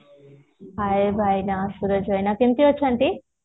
hey ଭାଇନା ସୁରଜ ଭାଇନା କେମିତି ଅଛନ୍ତି